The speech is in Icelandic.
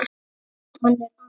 Hann er annað